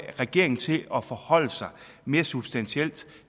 regeringen til at forholde sig mere substantielt